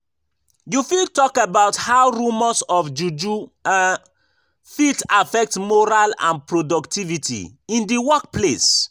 You fit talk about how rumors of juju um fit affect morale and productivity in di workplace.